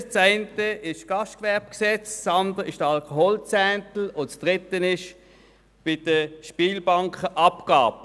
Die eine ist das Gastgewerbegesetz vom 11 November 1993 (GGG), die andere ist der Alkoholzehntel, und die dritte ist die Spielbankenabgabe.